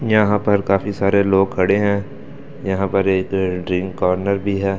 यहां पर काफी सारे लोग खड़े हैं यहां पर एक ड्रिंक कॉर्नर भी है।